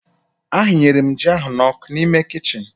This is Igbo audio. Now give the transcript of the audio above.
A hịnyere m ji ahụ n'ọku n'ime kichin